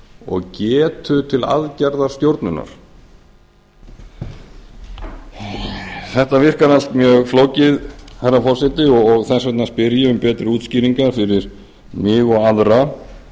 og getu til aðgerðastjórnunar þetta virkar allt mjög flókið herra forseti og þess vegna spyr ég um betri útskýringar fyrir mig og aðra